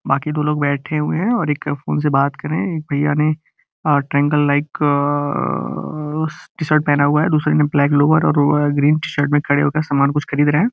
बाकि दो लोग बैठे हुए है और इक फ़ोन से बात कर रहे है। एक भइया ने a triangle like a t shirt पहना हुआ है दूसरे ने ब्लैक लोअर और ग्रीन टी_शर्ट में खड़े होकर सामान कूछ खरीद रहे हैं।